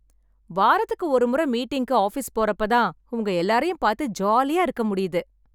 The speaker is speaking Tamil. வாரத்துக்கு ஒருமுறை மீட்டிங்கு, ஆபீஸ் போறப்ப தான் உங்கள எல்லாரையும் பார்த்து ஜாலியா இருக்க முடியுது.